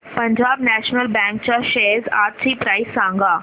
Punjab national bank च्या shares आजची price सांगा